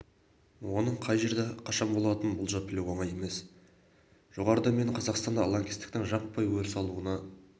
оның қай жерде қашан болатынын болжап білу оңай емес жоғарыда мен қазақстанда лаңкестіктің жаппай өріс алуына